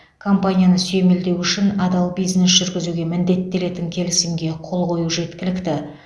компанияны сүйемелдеу үшін адал бизнес жүргізуге міндеттелетін келісімге қол қою жеткілікті